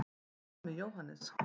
en hvað með jóhannes